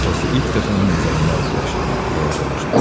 Atası ilk dəfə onun nəzərində adiləşdi, balacalaşdı.